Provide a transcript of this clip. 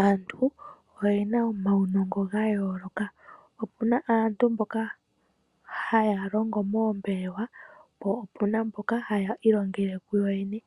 Aantu oye na omaunongo ga yooloka. Opu na aantu mboka haya longo moombelewa, po opu na mboka haya ilongele kuyo yene.